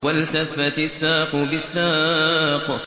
وَالْتَفَّتِ السَّاقُ بِالسَّاقِ